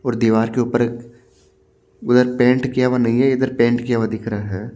और दीवार के ऊपर उधर पेंट किया हुआ नहीं है इधर पेंट किया हुआ दिख रहा है।